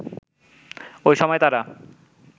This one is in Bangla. ওই সময় তারা